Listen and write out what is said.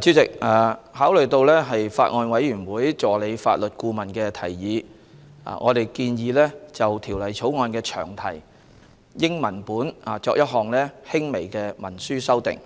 主席，考慮到法案委員會助理法律顧問的提議，我們建議就《2019年選舉法例條例草案》的詳題英文本作一項輕微的行文修訂，